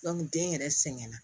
den yɛrɛ sɛgɛnna